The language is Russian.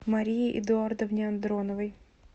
марии эдуардовне андроновой